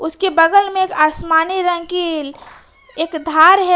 के बगल में आसमानी रंग की एक धार है।